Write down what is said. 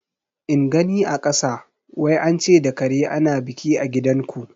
In gani a kasa; wai ance da kare ana biki a gidan ku